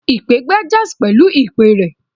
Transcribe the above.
Ipè gbá jazz pẹlu ipè rẹ̀